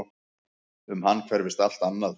Um hann hverfist allt annað.